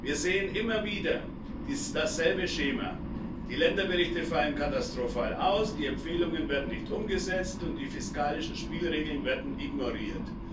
Wir sehen immer wieder dasselbe Schema Die Länderberichte fallen katastrophal aus, die Empfehlungen werden nicht umgesetzt, und die fiskalischen Spielregeln werden ignoriert.